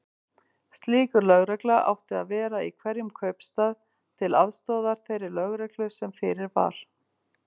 Slík lögregla átti að vera í hverjum kaupstað, til aðstoðar þeirri lögreglu sem fyrir var.